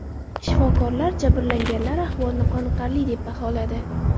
Shifokorlar jabrlanganlar ahvolini qoniqarli deb baholadi.